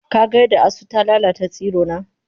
Ka ga yadda asu ta lalata tsirona?